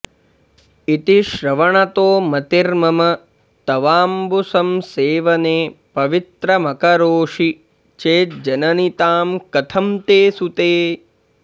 इति श्रवणतो मतिर्मम तवाम्बुसंसेवने पवित्रमकरोषि चेज्जननि तां कथं ते सुते